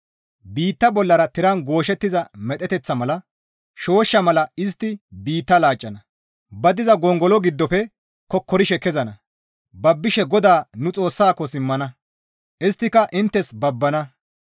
Biitta bollara tiran gooshettiza medheteththata mala, shooshsha mala istti biitta laaccana; ba diza gongolo giddofe kokkorishe kezana; babbishe GODAA nu Xoossako simmana; isttika inttes babbana.